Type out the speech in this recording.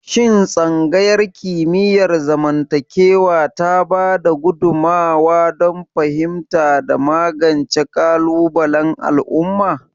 Shin Tsangayar Kimiyyar zamantakewa ta ba da gudummawa don fahimta da magance kalubalen al'umma?